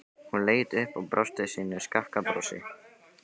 Hún leit upp og brosti sínu skakka brosi.